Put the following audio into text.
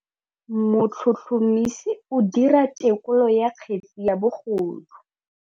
Motlhotlhomisi o dira têkolô ya kgetse ya bogodu.